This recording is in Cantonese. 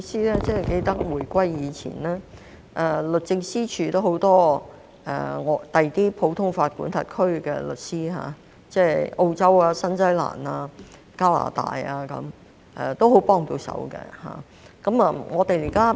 主席，我記得在回歸前，律政司署曾有很多來自其他普通法管轄區的律師，例如澳洲、新西蘭、加拿大，他們也很幫得上忙。